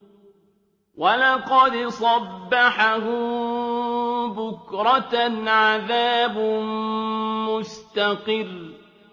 وَلَقَدْ صَبَّحَهُم بُكْرَةً عَذَابٌ مُّسْتَقِرٌّ